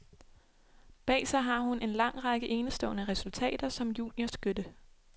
Bag sig har hun en lang række enestående resultater, som juniorskytte.